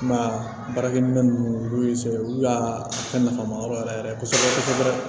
Kuma baarakɛminɛn ninnu fɛn olu y'a fɛn nafa ma yɔrɔ yɛrɛ yɛrɛ kosɛbɛ kosɛbɛ